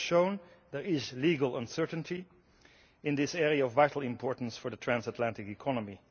This has shown there is legal uncertainty in this area of vital importance for the transatlantic economy.